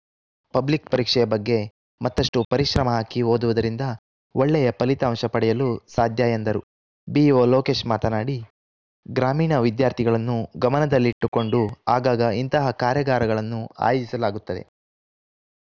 public ಪರೀಕ್ಷೆಯ ಬಗ್ಗೆ ಮತ್ತಷ್ಟು ಪರಿಶ್ರಮ ಹಾಕಿ ಓದುವುದರಿಂದ ಒಳ್ಳೆಯ ಫಲಿತಾಂಶ ಪಡೆಯಲು ಸಾಧ್ಯ ಎಂದರು ಬಿಇಒ ಲೋಕೇಶ್‌ ಮಾತನಾಡಿ ಗ್ರಾಮೀಣ ವಿದ್ಯಾರ್ಥಿಗಳನ್ನು ಗಮನದಲ್ಲಿಟ್ಟುಕೊಂಡು ಆಗಾಗ ಇಂತಹ ಕಾರ್ಯಾಗಾರಗಳನ್ನು ಆಯೋಜಿಸಲಾಗುತ್ತದೆ